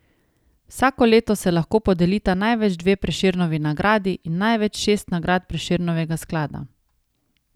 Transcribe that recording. Vsako leto se lahko podelita največ dve Prešernovi nagradi in največ šest nagrad Prešernovega sklada.